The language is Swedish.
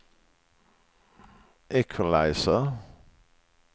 equalizer